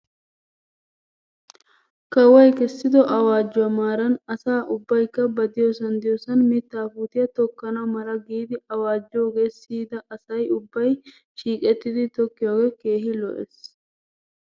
Kawoy kessido awaajjuwaa maaran asa ubbaykka ba diyoosan diyoosan mittaa puutiyaa tokkana mala giidi awaajjoogaa siyida asay ubbay shiiqettidi tokkiyoogee keehi lo'es.